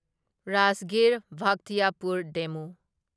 Rajgir Bakhtiyarpur ꯗꯦꯃꯨ